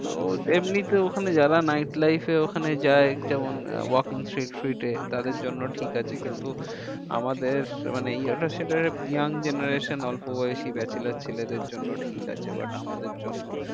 তো এমনিতে ওখানে যারা night life এ ওখানে যায় যেমন তাদের জন্য ঠিক আছে কিন্তু আমাদের মানে young generation অল্প বয়সই bachelor ছেলেদের জন্য ঠিক আছে but আমাদের জন্য